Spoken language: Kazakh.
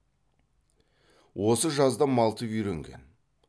осы жазда малтып үйренген